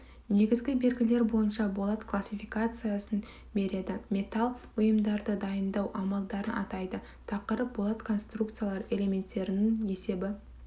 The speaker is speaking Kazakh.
негізгі белгілер бойынша болат классификациясын береді металдан бұйымдарды дайындау амалдарын атайды тақырып болат конструкциялары элементтерінің есебі